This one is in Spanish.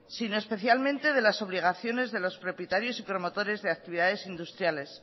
sino especialmente de las obligaciones de los propietarios y promotores de actividades industriales